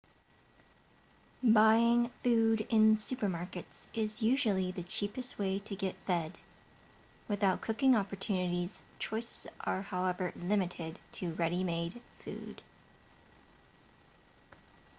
buying food in supermarkets is usually the cheapest way to get fed without cooking opportunities choices are however limited to ready-made food